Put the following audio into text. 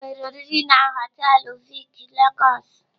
Enwere oriri na họtelụ Vic Lagos.